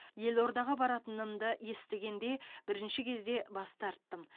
елордаға баратынымды естігенде бірінші кезде бас тарттым